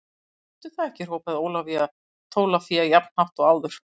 Veistu það ekki hrópaði Ólafía Tólafía jafn hátt og áður.